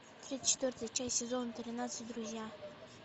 тридцать четвертая часть сезона тринадцать друзья